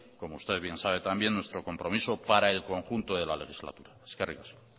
como usted bien sabe también nuestro compromiso para el conjunto de la legislatura eskerrik asko